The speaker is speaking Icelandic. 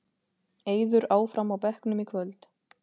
Eiður áfram á bekknum í kvöld